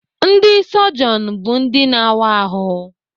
Ndị sọjọn bụ ndị na-awa ahụ.